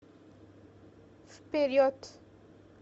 вперед